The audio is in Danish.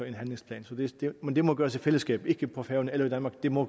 en handlingsplan men det må gøres i fællesskab ikke på færøerne eller i danmark det må